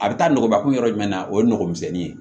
A bɛ taa nɔgɔnbakun yɔrɔ jumɛn na o ye nɔgɔmisɛnnin ye